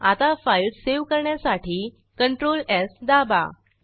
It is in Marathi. आता फाईल सेव्ह करण्यासाठी CTRLS दाबा